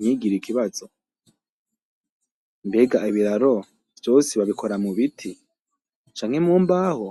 ntigire ikibazo . Mbega ibiraro vyose babikora mu biti canke mu mbaho?.